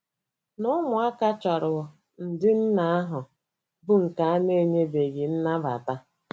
Na ụmụaka chọrọ ụdị nna ahụ bụ nke a na enyebeghị nnabata.